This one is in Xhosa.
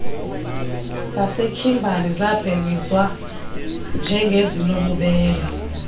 sasekhimbali zabhengezwa njengezinobubele